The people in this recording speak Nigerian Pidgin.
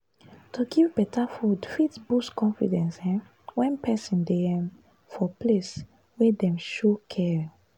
to dey help with housework encourages healthy habits by caring partners.